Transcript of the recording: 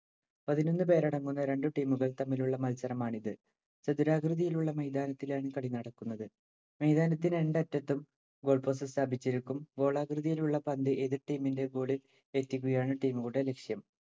പതിനൊന്നു പേരടങ്ങുന്ന രണ്ടു team ഉകൾ തമ്മിലുളള മത്സരമാണിത്‌. ചതുരാകൃതിയിലുള്ള മൈതാനത്തിലാണ് കളി നടക്കുന്നത്. മൈതാനത്തിന്‍റെ രണ്ടറ്റത്തും goal post സ്ഥാപിച്ചിരിക്കും. ഗോളാകൃതിയിലുള്ള പന്ത് എതിർ ടീമിന്‍റെ goal ഇല്‍ എത്തിക്കുകയാണ് team ഉകളുടെ ലക്ഷ്യം.